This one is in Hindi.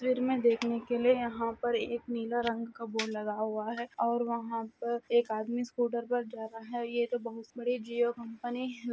तस्वीर मे देखने के लिए यहां पर एक नीला रंग का बोर्ड लगा हुआ है और वहां पर एक आदमी स्कूटर पर जा रहा है ये तो बोहोत बड़ी जियो कंपनी--